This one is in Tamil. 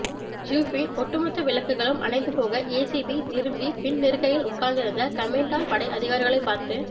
ஜீப்பின் ஒட்டு மொத்த விளக்குகளும் அணைந்து போக ஏசிபி திரும்பி பின் இருக்கையில் உட்கார்ந்திருந்த கமேண்டா படை அதிகாரிகளைப் பார்த்து